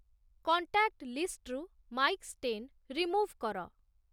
contact ଲିଷ୍ଟ୍‌ରୁ Mike Stein remove କର